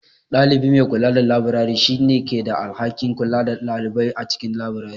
Ɗalibi mai kula da labirari, shi ne ke da alhakin kula da ɗalibai a cikin labirari.